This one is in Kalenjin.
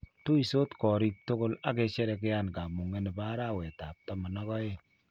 Tuisot koriik tugul ak kosherekean kamunge ne bo arawet ab taman ak oeng.